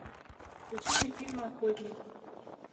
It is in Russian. включи мне фильм охотник